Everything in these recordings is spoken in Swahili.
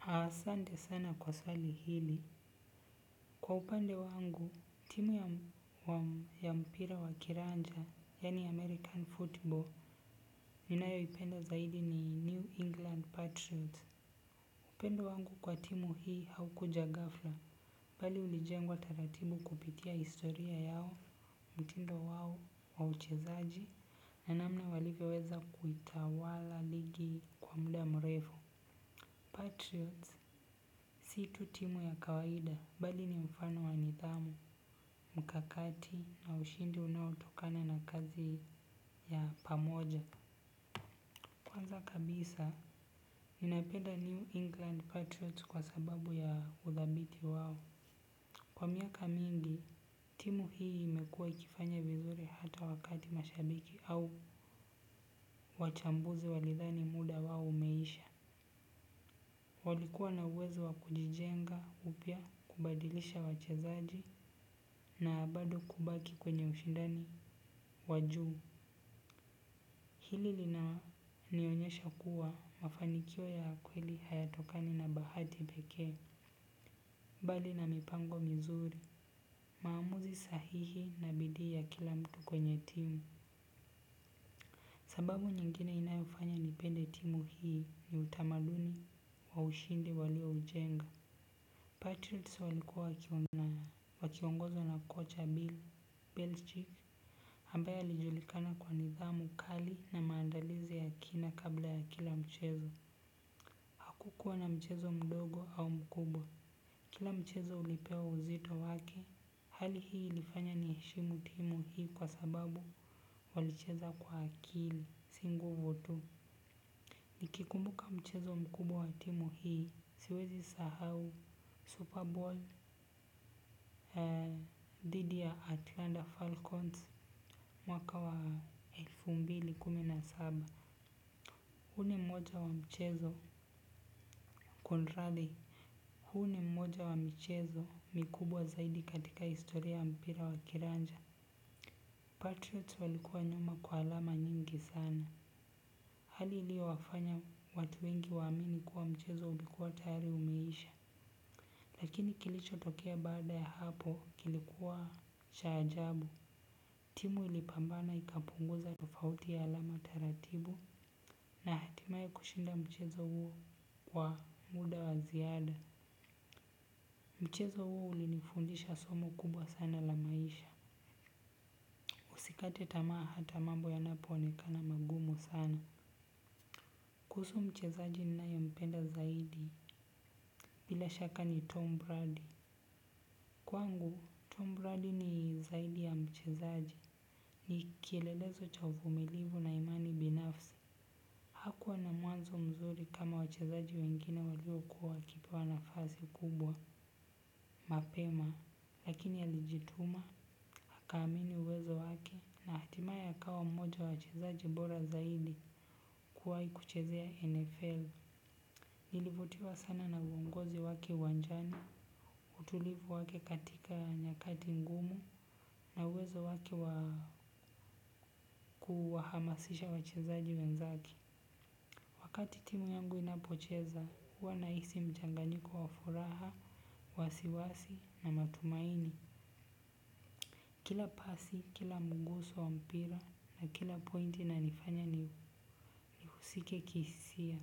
Asante sana kwa swali hili. Kwa upande wangu, timu ya mpira wa kiranja, yani American Football, ninayo ipenda zaidi ni New England Patriots. Upendo wangu kwa timu hii haukuja gafla, bali ulijengwa taratibu kupitia historia yao, mtindo wao wa uchezaji, na namna walivyoweza kuitawala ligi kwa muda mrefu. Patriots si tu timu ya kawaida bali ni mfano wanidhamu, mkakati na ushindi unaotokana na kazi ya pamoja. Kwanza kabisa, ninapeda New England Patriots kwa sababu ya udhabiti wao. Kwa miaka mingi, timu hii imekua ikifanya vizuri hata wakati mashabiki au wachambuzi walidhani muda wao umeisha. Walikuwa na uwezo wa kujijenga upya kubadilisha wachezaji na bado kubaki kwenye ushindani wa juu. Hili lina nionyesha kuwa mafanikio ya kweli hayatokani na bahati peke. Mbali na mipango mizuri maamuzi sahihi na bidii ya kila mtu kwenye timu. Sababu nyingine inayofanya nipende timu hii ni utamaduni wa ushindi walio ujenga. Patriots walikuwa wakiongozwa na kocha Bill Belchick ambay lijulikana kwa nidhamu kali na maandalizi ya kina kabla ya kila mchezo. Hakukuwa na mchezo mdogo au mkubwa. Kila mchezo ulipewa uzito wake. Hali hii ilifanya ni heshimu timu hii kwa sababu walicheza kwa akili si nguvu tu. Nikikumbuka mchezo mkubwa wa timu hii siwezi sahau Super Bowl dhidi ya Atlanta Falcons mwaka wa elfu mbili kumi na saba. Huu ni mmoja wa mchezo Conradi Huni mmoja wa michezo mikubwa zaidi katika historia ya mpira wa kiranja Patriots walikuwa nyuma kwa alama nyingi sana hali ilio wafanya watu wengi waamini kuwa mchezo ulikuwa tayari umeisha. Lakini kilicho tokea baada ya hapo kilikuwa cha ajabu. Timu ilipambana ikapunguza tofauti ya alama taratibu. Na hatimaye kushinda mchezo huo kwa muda wa ziada. Mchezo huu ulinifundisha somo kubwa sana la maisha usikate tamaa hata mambo yanapoonekana mangumu sana. Kuhusu mchezaji ninayempenda zaidi bila shaka ni Tom Brady. Kwangu Tom Brady ni zaidi ya mchezaaji. Ni kielelezo cha uvumilivu na imani binafsi. Hakuwa na mwanzo mzuri kama wachezaji wengine waliokuwa wakipewa na fasi kubwa. Mapema lakini alijituma akaamini uwezo wake. Na hatimaye akawa mmoja wa wachezaji bora zaidi kuwahi kuchezea NFL. Nilivutiwa sana na uongozi wake uwanjani. Utulivu wake katika nyakati ngumu. Na uwezo wake wa kuwahamasisha wachezaji wenzake. Wakati timu yangu inapocheza, huwa nahisi mchanganyiko wa furaha, wasiwasi na matumaini. Kila pasi, kila mguso wa mpira na kila pointi na inifanya ni husike kihisia.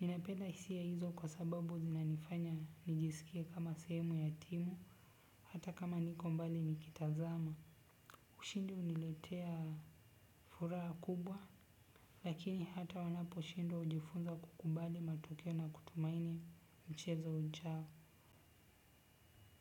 Ninapenda hisia hizo kwa sababu zinanifanya nijisikie kama semu ya timu, hata kama niko mbali nikitazama. Ushindi huniletea furaha kubwa. Lakini hata wanapo shindwa hujifunza kukubali matokeo na kutumaini mchezo ujao.